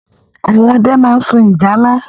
Àwọn ọdẹ máa ń sun ìjálá.